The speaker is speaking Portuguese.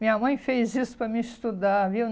Minha mãe fez isso para me estudar, viu?